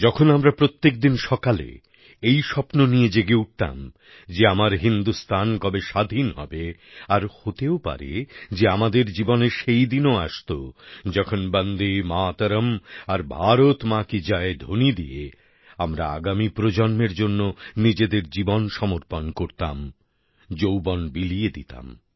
যখন আমরা প্রত্যেক দিন সকালে এই স্বপ্ন নিয়ে জেগে উঠতাম যে আমার হিন্দুস্থান কবে স্বাধীন হবে আর হতেও পারে যে আমাদের জীবনে সেই দিনও আসত যখন বন্দেমাতরম আর ভারত মা কি জয় ধ্বনি দিয়ে আমরা আগামী প্রজন্মের জন্য নিজেদের জীবন সমর্পণ করতাম যৌবন বিলিয়ে দিতাম